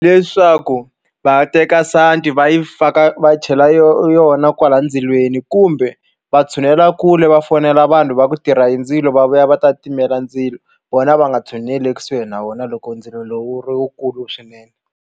Leswaku va teka santi va yi faka va chela yo yona kwala ndzilweni kumbe va tshunela kule va fonela vanhu va ku tirha hi ndzilo va vuya va ta timela ndzilo vona va nga tshuneli ekusuhi na wona loko ndzilo lowu wu ri wukulu swinene.